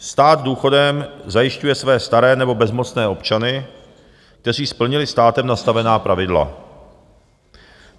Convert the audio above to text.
Stát důchodem zajišťuje své staré nebo bezmocné občany, kteří splnili státem nastavená pravidla.